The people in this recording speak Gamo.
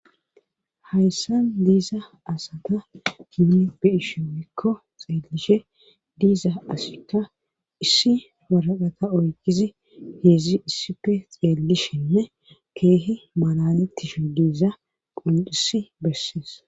Hayssan de'iza asata nuni be'ishinka xeellishe diiza asika issi waraqata oykidzi heedzi issippe xeellishenne keehi malalettishe de'iza qonccissi bessees.